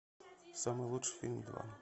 самый лучший фильм два